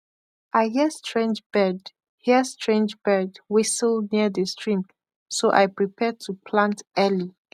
i hear strange bird hear strange bird whistle near the stream so i prepare to plant early